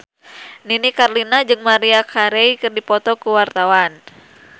Nini Carlina jeung Maria Carey keur dipoto ku wartawan